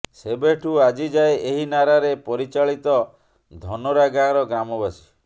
ସେବେଠୁ ଆଜି ଯାଏ ଏହି ନାରାରେ ପରିଚାଳିତ ଧନୋରା ଗାଁର ଗ୍ରାମବାସୀ